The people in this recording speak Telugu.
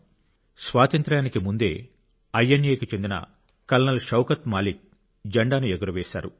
అక్కడ స్వాతంత్ర్యానికి ముందే ఐఎన్ఎకు చెందిన కల్నల్ షౌకత్ మాలిక్ జెండాను ఎగురవేశారు